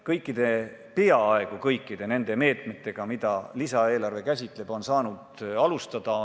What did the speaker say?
Kõiki või peaaegu kõiki meetmeid, mida lisaeelarve käsitleb, on saanud käivitada.